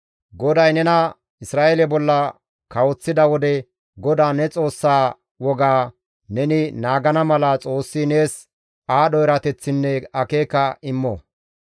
GODAY nena Isra7eele bolla kawoththida wode GODAA ne Xoossaa wogaa neni naagana mala Xoossi nees aadho erateththinne akeeka immo.